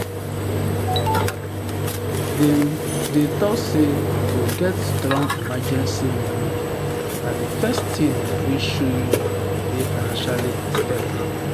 dem dey talk say to get strong emergency money na the first thing wey show you dey financially stable.